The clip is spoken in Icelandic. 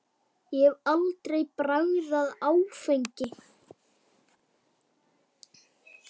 Ég hef aldrei bragðað áfengi.